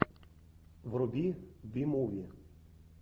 вруби би муви